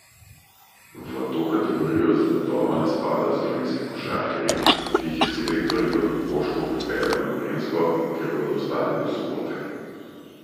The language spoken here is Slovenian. V to kategorijo zagotovo ne spadajo slovenski košarkarji, ki jih je selektor Igor Kokoškov pripeljal na Gorenjsko, kjer bodo ostali do sobote.